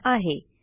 यांनी दिला आहे